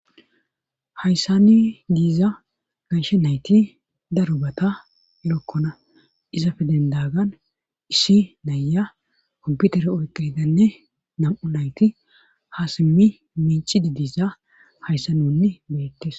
Hayssani giiza gashe nayti darobata lokkona izafe dendagan issi nayya komputere oyqiidanne nam7u nayti ha simmi minci didisa hayssanonni beettes.